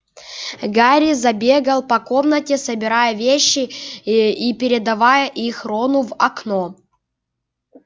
гарри забегал по комнате собирая вещи и передавая их рону в окно